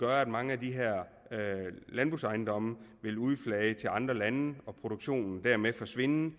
at mange af de her landbrugsejendomme vil udflage til andre lande og produktionen dermed forsvinde